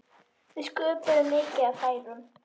Við sköpuðum mikið af færum.